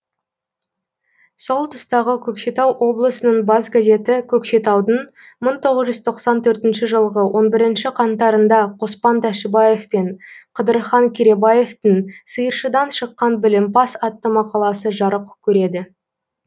сол тұстағы көкшетау облысының бас газеті көкшетаудың мың тоғыз жүз тоқсан төртінші жылғы он бірінші қаңтарында қоспан тәшібаев пен қыдырхан керейбаевтың сиыршыдан шыққан білімпаз атты мақаласы жарық көреді